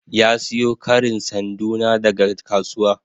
Ya siyo karin sanduna daga kasuwa.